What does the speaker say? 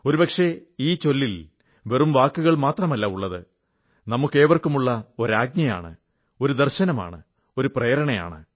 ഒരുപക്ഷേ ഈ ചൊല്ലിൽ വെറും വാക്കുകൾ മാത്രമല്ല ഉള്ളത് നമുക്കേവർക്കുമുള്ള ഒരു ആജ്ഞയാണ് ഒരു ദർശനമാണ് ഒരു പ്രേരണയാണ്